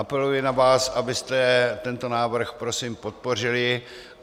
Apeluji na vás, abyste tento návrh prosím podpořili.